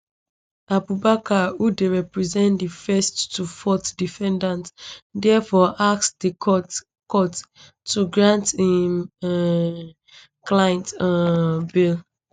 abubakar who dey represent di first to fourth defendant diafore ask di court court to grant im um clients um bail